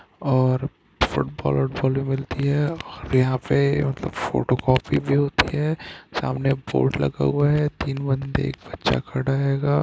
और और फुटबॉल और बॉल मिलती है और यहाँ पे मतलब फोटोकॉपी भी होती है सामने बोर्ड लगा हुआ है सामने तीन बन्दे एक बच्चा खड़ा हेगा।